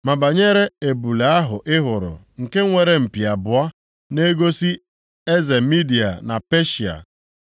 Ma banyere ebule ahụ ị hụrụ nke nwere mpi abụọ, na-egosi eze Midia na Peshịa.